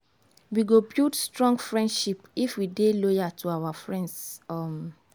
we go build strong friendship if we dey loyal to our friends. um